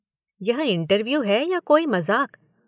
यह इंटरव्यू है या कोई मज़ाक?